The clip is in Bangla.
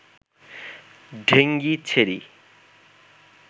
ঢেঙ্গি ছেড়ি